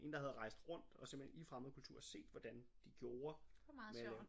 En der havde rejst rundt og simpelthen i fremmedkulturer set hvordan de gjorde med at lave